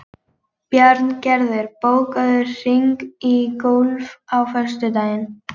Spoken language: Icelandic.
Bjarngerður, bókaðu hring í golf á föstudaginn.